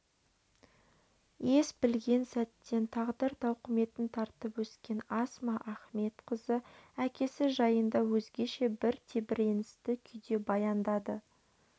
ес білген сәттен тағдыр тауқыметін тартып өскен асма ахметқызы әкесі жайында өзгеше бір тебіреністі күйде баяндады